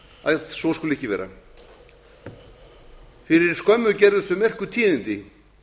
að svo skuli ekki vera fyrir skömmu gerðust þau merku tíðindi